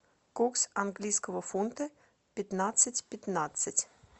курс английского фунта пятнадцать пятнадцать